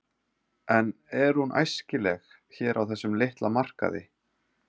En er hún æskileg hér á þessum litla markaði?